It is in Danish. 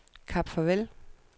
Kap Farvel